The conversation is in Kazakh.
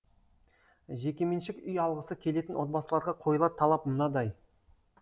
жекеменшік үй алғысы келетін отбасыларға қойылар талап мынадай